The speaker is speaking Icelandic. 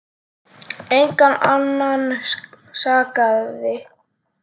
Engan annan sakaði.